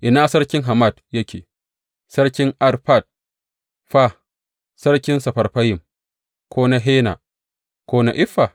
Ina sarkin Hamat yake, sarkin Arfad fa, sarkin Sefarfayim, ko na Hena ko na Iffa?